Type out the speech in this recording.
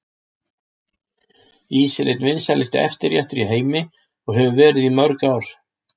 Ís er einn vinsælasti eftirréttur í heimi og hefur verið í mörg ár.